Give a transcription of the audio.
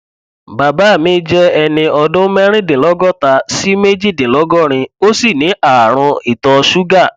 bàbá mi jẹ ẹni ọdún mẹrìndínlọgọta sí méjìdínlọgọrin ó sì ní ààrùn ìtọ ṣúgà